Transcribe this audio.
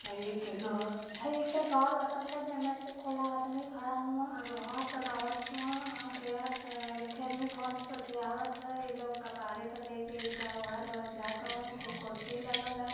आ एक ठे घर बा जेमें कुल आदमी खड़ा हउवन आ घर बनावत हुवन आ एहर एक ठे आदमी फोन पर बतियावत ह। ई लोग कपारे प लेके ईटा ओहर ओहर जात हवन। कुल कुर्सी लागल ह।